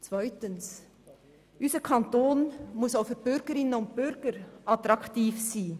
Zweitens muss unser Kanton auch für die Bürgerinnen und Bürger attraktiv sein.